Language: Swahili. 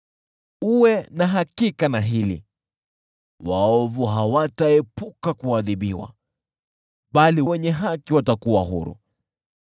Uwe na hakika na hili: Waovu hawataepuka kuadhibiwa, bali wenye haki watakuwa huru.